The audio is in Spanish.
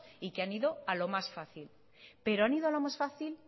y que han ido a lo más fácil pero han ido a lo más fácil